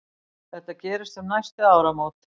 Þetta gerist um næstu áramót.